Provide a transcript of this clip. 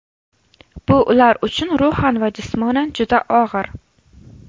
Bu ular uchun ruhan va jismonan juda og‘ir.